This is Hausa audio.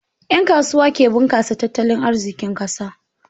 Ƴan kasuwa ke bunƙasa tattalin arzikin ƙasa.